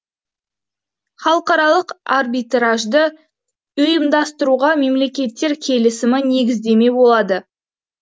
халықаралық арбитражды ұйымдастыруға мемлекеттер келісімі негіздеме болады